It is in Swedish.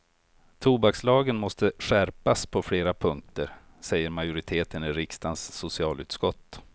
Tobakslagen måste skärpas på flera punkter, säger majoriteten i riksdagens socialutskott.